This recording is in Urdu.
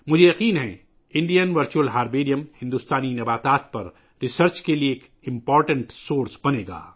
مجھے یقین ہے کہ بھارتی ورچوئل ہربیریم بھارتی نباتات پر تحقیق کے لئے ایک اہم وسیلہ بن جائے گا